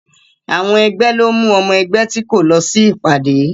Àwọn ẹgbẹ́ lọ mú ọmọ ẹgbẹ́ tí kò lọ sí ìpàdé